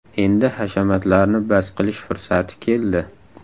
Endi hashamatlarni bas qilish fursati keldi!